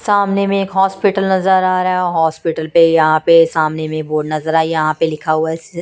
सामने में एक हॉस्पिटल नजर आ रहा हैं हॉस्पिटल पे यहाँ पे सामने में बोर्ड नजर आयी यहाँ पे लिखा हुवा हैं स--